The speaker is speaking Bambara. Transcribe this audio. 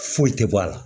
Foyi tɛ bɔ a la